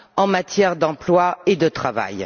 en matière d'emploi et de travail.